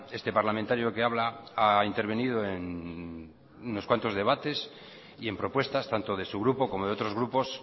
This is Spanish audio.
este parlamentario que habla ha intervenido en unos cuantos debates y en propuestas tanto de su grupo como de otros grupos